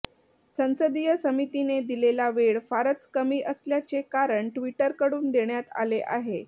संसदीय समितीने दिलेला वेळ फारच कमी असल्याचे कारण ट्विटरकडून देण्यात आले आहे